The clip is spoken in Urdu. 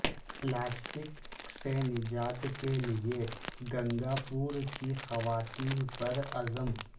پلاسٹک سے نجات کیلئے گنگا پور کی خواتین پر عزم